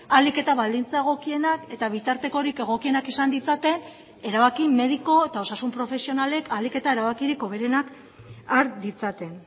ahalik eta baldintza egokienak eta bitartekorik egokienak izan ditzaten erabaki mediku eta osasun profesionalek ahalik eta erabakirik hoberenak har ditzaten